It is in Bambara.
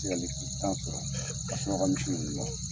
se ka litiri tan sɔrɔ ka misi ninnu na.